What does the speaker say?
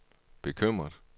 bekymret